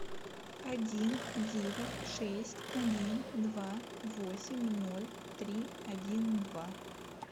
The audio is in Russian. один девять шесть один два восемь ноль три один два